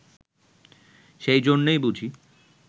সেই জন্যই বুঝি